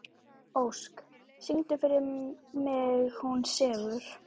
Ósk, syngdu fyrir mig „Hún sefur“.